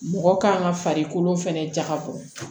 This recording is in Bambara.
Mɔgɔ kan ka farikolo fɛnɛ jagabɔ